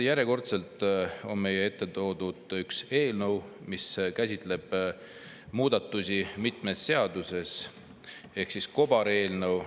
Järjekordselt on meie ette toodud üks eelnõu, mis käsitleb muudatusi mitmes seaduses, ehk siis kobareelnõu.